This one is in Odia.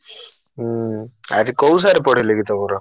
ହୁଁ ଆଜି କୋଉ sir ପଢେଇଲେ କି ତମର?